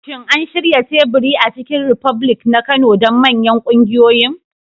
Shin an shirya teburi a Chicken republic na Kano don manyan ƙungiyoyin?